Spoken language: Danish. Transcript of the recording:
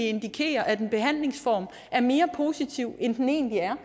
indikerer at en behandlingsform er mere positiv end den egentlig er